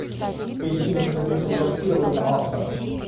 перейти на страницу редактирования автора